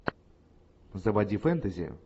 заводи фэнтези